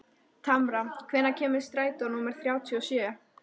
Tamara, hvenær kemur strætó númer þrjátíu og sjö?